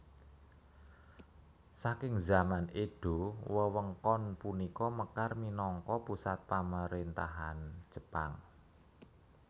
Saking zaman Edo wewengkon punika mekar minangka pusat pamaréntahan Jepang